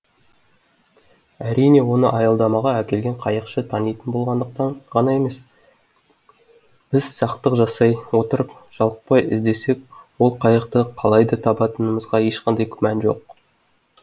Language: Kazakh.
әрине оны аялдамаға әкелген қайықшы танитын болғандықтан ғана емес біз сақтық жасай отырып жалықпай іздесек ол қайықты қалай да табатынымызға ешқандай күмән жоқ